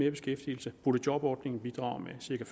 i beskæftigelse boligjobordningen bidrager med cirka